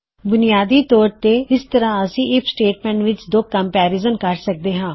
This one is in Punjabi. ਬੁਨਿਆਦੀ ਤੌਰ ਤੇ ਇਸ ਤਰਹ ਅਸੀ ਆਈਐਫ ਸਟੇਟਮੈਂਟ ਵਿੱਚ ਦੋ ਕੰਮਪੈਰਿਜ਼ਨ ਕਰ ਸਕਦੇ ਹਾਂ